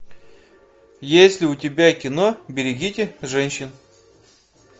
есть ли у тебя кино берегите женщин